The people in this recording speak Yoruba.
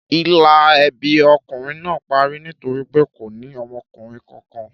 Ìlà ẹbí ọkùnrin náà parí nítorí pé kò ní ọmọkùnrin kankan.